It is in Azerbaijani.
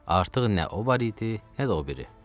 Artıq nə o var idi, nə də o biri.